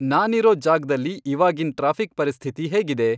ನಾನಿರೋ ಜಾಗ್ದಲ್ಲಿ ಇವಾಗಿನ್ ಟ್ರಾಫಿಕ್ ಪರಿಸ್ಥಿತಿ ಹೇಗಿದೆ